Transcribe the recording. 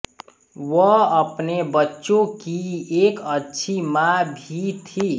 वह अपने बच्चों की एक अच्छी माँ भी थी